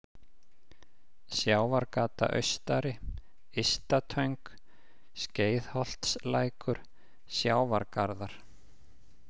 Sjávargata austari, Ysta-Töng, Skeiðholtslækur, Sjávargarðar